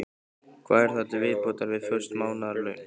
Hvað er þar til viðbótar við föst mánaðarlaun?